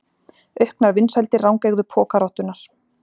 Auknar vinsældir rangeygðu pokarottunnar